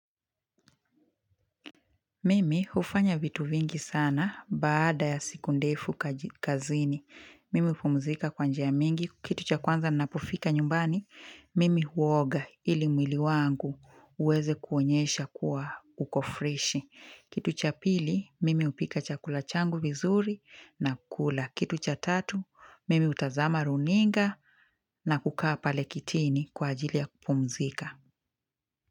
Mimi hufanya vitu vingi sana baada ya siku ndefu kazini. Mimi hupumzika kwa njia ya mingi. Kitu cha kwanza napofika nyumbani, Mimi huoga ili mwili wangu uweze kuonyesha kuwa uko freshi. Kitu cha pili, Mimi hupika chakula changu vizuri na kula. Kitu cha tatu, Mimi utazama runinga na kukaa pale kitini kwa ajili ya kupumzika.